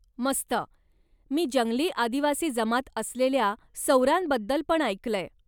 मस्त! मी जंगली आदिवासी जमात असलेल्या सौरांबद्दल पण ऐकलंय.